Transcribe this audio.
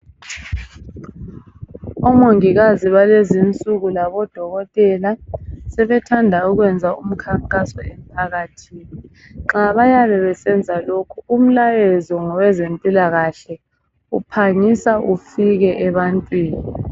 Omongikazi balezi insuku labodokotela sebethanda ukwenza umkhankaso emphakathini. Nxa beyabe besenza lokho umlayezo wezempilakahle uphangisa ufike ebantwini.